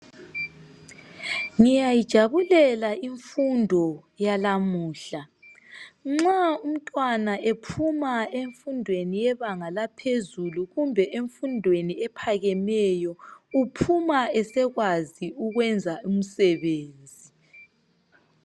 Ngiyayijabulela imfundo yanamuhla, nxa umntwana ephuma emfundweni yebanga laphezulu kumbe emfundweni ephakemeyo uphuma esekwazi ukwenza umsebenzi.